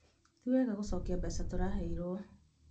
Ti wega gũcokia mbeca tũraheirwo